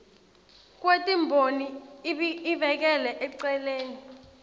kwetimboni ibekele eceleni